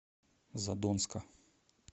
задонска